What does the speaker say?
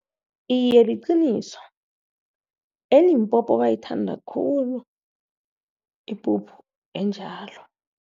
Iye, liqiniso, eLimpopo bayithanda khulu ipuphu enjalo.